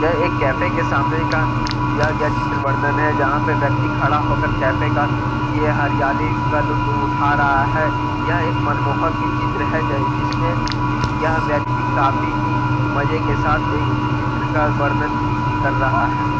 यह एक कैफ़े के सामने का दिया गया चित्र वर्णन है | जहाँ पे व्यक्ति खड़ा होकर कैफ़े का ये हरियाली का लुफ्त उठा रहा है यह एक मनमोहक ही चित्र है जिसमें यह व्यक्ति काफी ही मज़े के साथ एक चित्र का वर्णन कर रहा है |